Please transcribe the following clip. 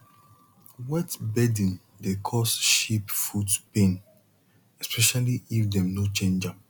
wet bedding dey cause sheep foot pain especially if dem no change am